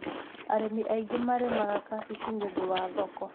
Arĩmi aingĩ marĩmaga kabici nĩ ũndũ wa thoko.